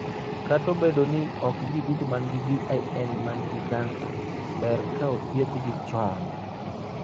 Kata obedo ni ok ji duto man gi VIN ma nigi kansa, ber ka othiedhgi chon.